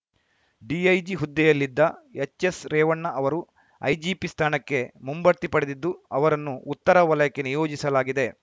DIG ಹುದ್ದೆಯಲ್ಲಿದ್ದ ಎಚ್‌ಎಸ್‌ರೇವಣ್ಣ ಅವರು IGP ಸ್ಥಾನಕ್ಕೆ ಮುಂಬಡ್ತಿ ಪಡೆದಿದ್ದು ಅವರನ್ನು ಉತ್ತರ ವಲಯಕ್ಕೆ ನಿಯೋಜಿಸಲಾಗಿದೆ